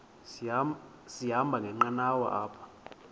sahamba ngenqanawa apha